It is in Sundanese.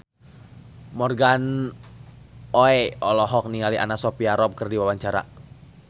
Morgan Oey olohok ningali Anna Sophia Robb keur diwawancara